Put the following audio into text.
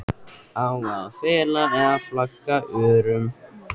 Á að fela eða flagga örum?